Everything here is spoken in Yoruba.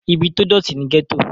ibi tó dọ̀tí ni gẹ́tò